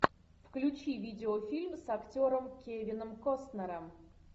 включи видеофильм с актером кевином костнером